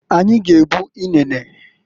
Anyi g'ebu inene.